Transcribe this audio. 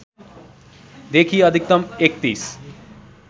देखि अधिकतम ३१